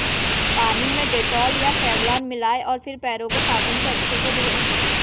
पानी में डेटॉल या सेवलॉन मिलाएं और फिर पैरों को साबुन से अच्छे से धोएं